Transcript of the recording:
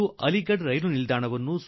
ಅವರು ನನಗೆ ಚಿತ್ರಗಳನ್ನು ತೋರಿಸಿದರು